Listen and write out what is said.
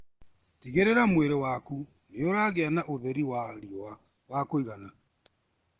Tigĩrĩra mwĩrĩ waku nĩũragĩa na ũtheri wa riũa wakũigana.